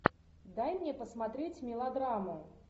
дай мне посмотреть мелодраму